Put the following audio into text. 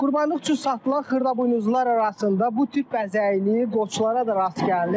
Qurbanlıq üçün satılan xırdabuynuzlular arasında bu tip bəzəyini qoçlara da rast gəlinir.